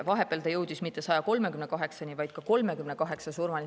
Vahepeal see jõudis mitte 138-ni, vaid 38 surmani.